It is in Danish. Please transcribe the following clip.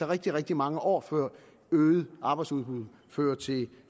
rigtig rigtig mange år før øget arbejdsudbud fører til